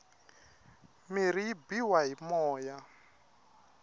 mirhi yi biwa hi moya